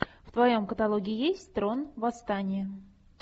в твоем каталоге есть трон восстание